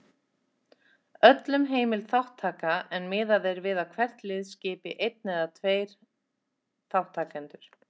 Öllum heimil þátttaka en miðað er við að hvert lið skipi einn eða tveir þátttakendur.